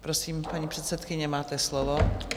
Prosím, paní předsedkyně, máte slovo.